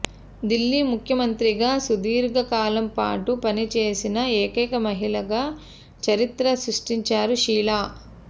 దిల్లీ ముఖ్యమంత్రిగా సుదీర్ఘ కాలంపాటు పనిచేసిన ఏకైక మహిళగా చరిత్ర సృష్టించారు షీలా